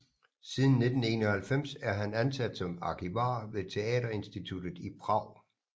Siden 1991 er han ansat som arkivar ved Teaterinstituttet i Prag